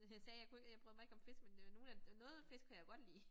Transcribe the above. Øh sagde jeg kunne jeg bryder mig ikke om fisk men øh nogle af noget fisk kan jeg jo godt lide